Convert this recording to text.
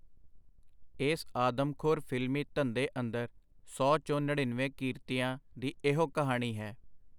ਏਸ ਆਦਮਖੋਰ ਫਿਲਮੀ ਧੰਦੇ ਅੰਦਰ ਸੌ ਚੋਂ ਨੜਿੰਨਵੇਂ ਕਿਰਤੀਆਂ ਦੀ ਇਹੋ ਕਹਾਣੀ ਹੈ.